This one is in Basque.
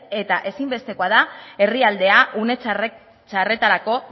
eta ezinbestekoa da herrialdea une txarretarako